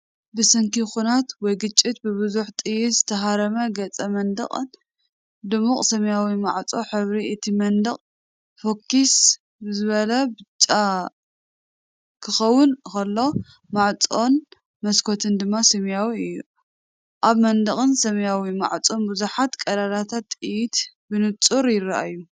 ብሰንኪ ኲናት ወይ ግጭት ብብዙሕ ጥይት ዝተሃርመ ገዛ መንደቕን ድሙቕ ሰማያውን ማዕጾ። ሕብሪ እቲ መንደቕ ፍኹስ ዝበለ ብጫ ክኸውን ከሎ፡ ማዕጾን መስኮትን ድማ ሰማያዊ እዩ። ኣብ መንደቕን ሰማያዊ ማዕጾን ብዙሓት ቀዳዳት ጥይት ብንጹር ይረኣዩ።